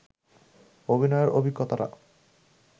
অভিনয়ের অভিজ্ঞতাটা